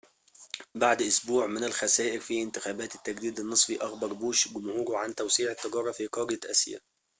بعد أسبوعٍ من الخسائر في انتخابات التجديد النصفي، أخبر بوش جمهوره عن توسيع التجارة في قارة آسيا